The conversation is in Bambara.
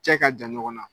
Cɛ ka jan ɲɔgɔn na